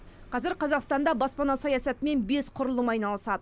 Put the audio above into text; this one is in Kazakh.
қазір қазақстанда баспана саясатымен бес құрылым айналысады